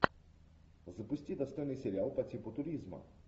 запусти достойный сериал по типу туризма